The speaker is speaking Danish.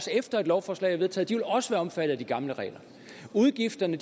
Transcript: efter at et lovforslag er vedtaget også omfattet af de gamle regler udgifterne